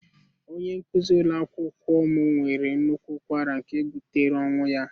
Onye nkuzi ụlọ akwụkwọ m nwere nnukwu ụkwara nke butere ọnwụ ya.